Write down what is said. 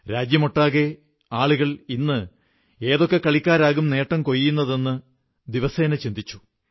രാജ്യമൊട്ടാകെ ആളുകൾ ഇന്ന് ഏതൊക്കെ കളിക്കാരാകും നേട്ടം കൊയ്യുന്നതെന്ന് ദിവസേന ചിന്തിച്ചു